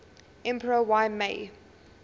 emperor y mei